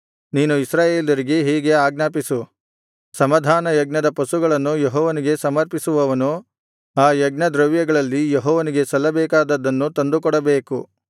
ನೀನು ಇಸ್ರಾಯೇಲರಿಗೆ ಹೀಗೆ ಆಜ್ಞಾಪಿಸು ಸಮಾಧಾನಯಜ್ಞದ ಪಶುಗಳನ್ನು ಯೆಹೋವನಿಗೆ ಸಮರ್ಪಿಸುವವನು ಆ ಯಜ್ಞದ್ರವ್ಯಗಳಲ್ಲಿ ಯೆಹೋವನಿಗೆ ಸಲ್ಲಬೇಕಾದದ್ದನ್ನು ತಂದುಕೊಡಬೇಕು